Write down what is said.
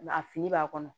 A fini b'a kɔnɔ